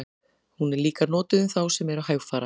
Hún er líka notuð um þá sem eru hægfara.